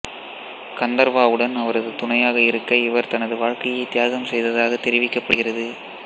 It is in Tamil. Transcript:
கந்தர்வாவுடன் அவரது துணையாக இருக்க இவர் தனது வாழ்க்கையை தியாகம் செய்ததாக தெரிவிக்கப்படுகிறது